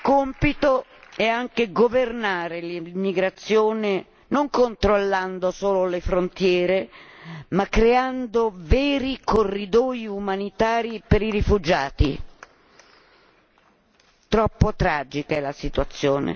Compito è anche governare l'immigrazione non controllando solo le frontiere ma creando veri corridoi umanitari per i rifugiati troppo tragica è la situazione.